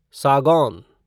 सागौन